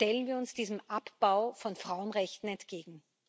Stellen wir uns diesem Abbau von Frauenrechten entgegen!